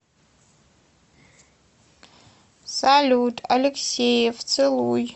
салют алексеев целуй